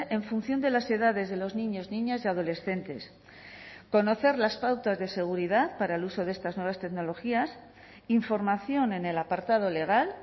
en función de las edades de los niños niñas y adolescentes conocer las pautas de seguridad para el uso de estas nuevas tecnologías información en el apartado legal